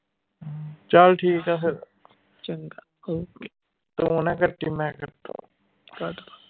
ਚੱਲ ਠੀਕ ਆ ਫੇਰ ਤੂੰ ਨਾ ਕੱਟੀ ਮੈਂ ਕੱਟੂ